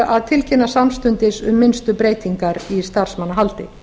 að tilkynna samstundis um minnstu breytingar í starfsmannahaldi